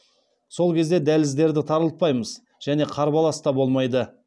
сол кезде дәліздерді тарылтпаймыз және қарбалас та болмайды